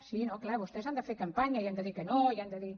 sí no clar vostès han de fer campanya i han de dir que no i han de dir